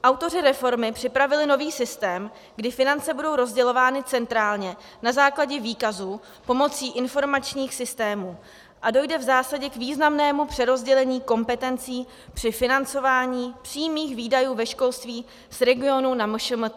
Autoři reformy připravili nový systém, kdy finance budou rozdělovány centrálně na základě výkazů pomocí informačních systémů a dojde v zásadě k významnému přerozdělení kompetencí při financování přímých výdajů ve školství z regionů na MŠMT.